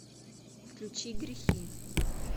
включи грехи